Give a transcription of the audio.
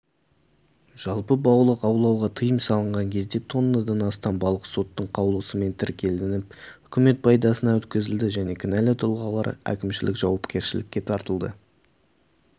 жалпы балық аулауға тыйым салынған кезде тоннадан астам балық соттың қаулысымен тәркіленіп үкімет пайдасына өткізілді және кінәлі тұлғалар әкімшілік жауапкершілікке тартылды